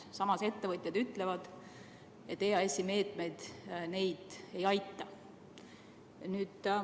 Samas ütlevad ettevõtjad, et EAS-i meetmed neid ei aita.